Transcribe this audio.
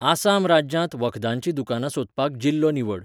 आसाम राज्यांत वखदांचीं दुकानां सोदपाक जिल्लो निवड.